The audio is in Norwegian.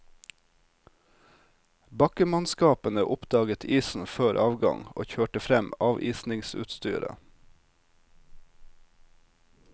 Bakkemannskapene oppdaget isen før avgang og kjørte frem avisingsutstyret.